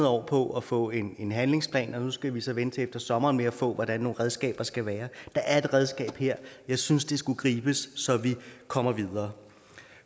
år på at få en en handlingsplan og nu skal vi så vente til efter sommeren med at få hvordan nogle redskaber skal være der er et redskab her jeg synes det skulle gribes så vi kommer videre